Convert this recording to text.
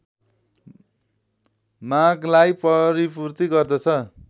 मागलाई परिपूर्ति गर्दछ।